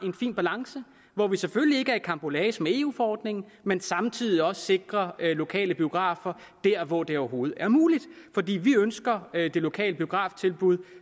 en fin balance hvor vi selvfølgelig ikke er i karambolage med eu forordningen men samtidig også sikrer lokale biografer dér hvor det overhovedet er muligt fordi vi ønsker det lokale biograftilbud